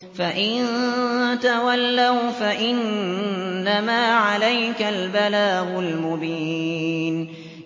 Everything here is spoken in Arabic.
فَإِن تَوَلَّوْا فَإِنَّمَا عَلَيْكَ الْبَلَاغُ الْمُبِينُ